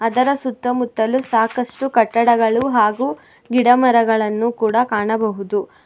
ಇದರ ಸುತ್ತಮುತ್ತಲು ಸಾಕಷ್ಟು ಕಟ್ಟಡಗಳು ಹಾಗೂ ಗಿಡಮರಗಳನ್ನು ಕೂಡ ಕಾಣಬಹುದು.